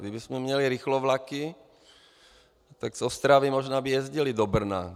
Kdybychom měli rychlovlaky, tak z Ostravy by možná jezdili do Brna.